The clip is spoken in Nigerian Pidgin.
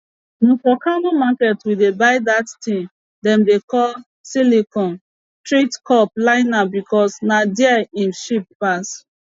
na for kano market we dey buy dat tin dem dey call silicone teat cup liner becos na there im cheap pass